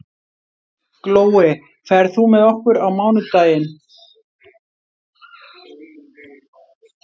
Glói, ferð þú með okkur á mánudaginn?